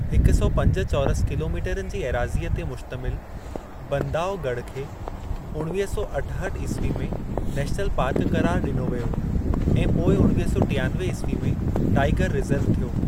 हिक सौ पंज चौरस किलोमीटरनि जी एराज़ीअ ते मुश्तमिल बंदावघड़ खे उणिवीह सौ अठहठि ईस्वी में नेशनल पार्क क़रारु ॾिनो वियो ऐं पोइ उणिवीह सौ टियानवे ईस्वी में टाईगर रिजर्व थियो।